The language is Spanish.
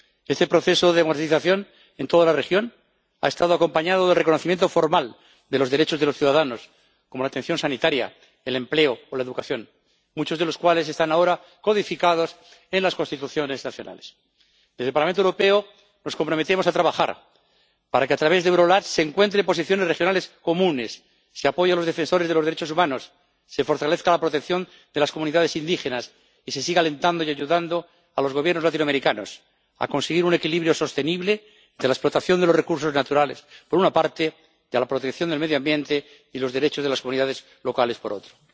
Este proceso de democratización en toda la región ha estado acompañado del reconocimiento formal de los derechos de los ciudadanos, como la atención sanitaria, el empleo o la educación, muchos de los cuales están ahora codificados en las constituciones nacionales. Desde el Parlamento Europeo nos comprometemos a trabajar para que, a través de EuroLat, se encuentren posiciones regionales comunes, se apoye a los defensores de los derechos humanos, se fortalezca la protección de las comunidades indígenas y se siga alentando y ayudando a los Gobiernos latinoamericanos a conseguir un equilibrio sostenible de la explotación de los recursos naturales, por una parte, y a proteger el medio ambiente y los derechos de las comunidades locales, por otra.